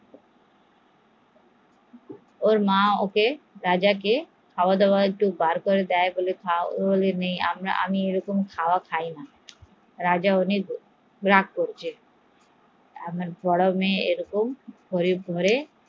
ওর মা অনেক খাবার বের করে দেয় কিন্তু রাজা বলে এরকম খাবার আমি খাইনা, রাজা অনেক রাগ করেছে আমার বড়ো মেয়ে এরকম গরিব ঘরে